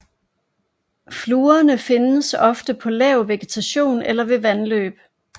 Fluerne findes ofte på lav vegetation eller ved vandløb